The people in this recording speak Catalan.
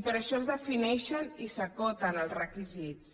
i per això es defineixen i s’acoten els requisits